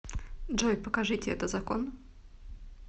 джой покажите это закон